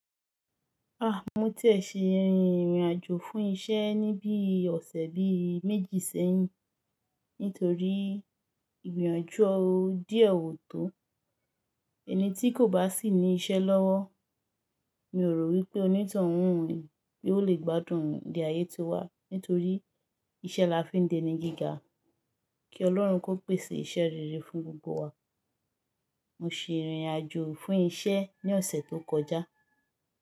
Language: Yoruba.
Ah, mo ti ẹ ṣe ìrìn ìrìn àjò fún isẹ́ ní bíi ọ̀sẹ̀ bíi méjì sẹ́yìn. Nítorí ìgbọ̀yànju ọ̀hùn díẹ̀ ò tó. Ẹni tí kò bá sì ní isẹ́ lọ́wọ́, mi ò rò wípé onítàn òhun bí ó le gbádùn ìdí ayé tó wà. Nítorí iṣẹ́ la fi ń deni gíga. Ki Ọlọ́run kó pèsè isẹ́ rere fún gbogbo wa. Mo se ìrìn àjò fún isẹ́ ní ọ̀sẹ̀ tó kọjá.